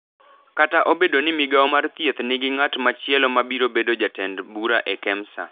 kata obedo ni migao mar Thieth nigi ng’at machielo ma biro bedo jatend bura e Kemsa